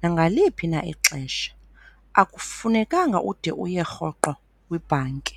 nangaliphi na ixesha, akufunekanga ude uye rhoqo kwibhanki.